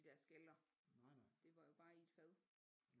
De der skaller det var jo bare i et fad